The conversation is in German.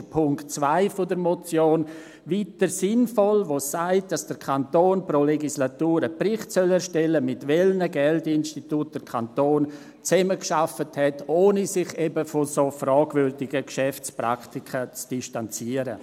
Deshalb ist Punkt 2 der Motion weiterhin sinnvoll, der sagt, dass der Kanton pro Legislatur einen Bericht erstellen soll, mit welchen Geldinstituten der Kanton zusammengearbeitet hat, ohne sich eben von so fragwürdigen Geschäftspraktiken zu distanzieren.